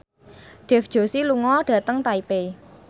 Dev Joshi lunga dhateng Taipei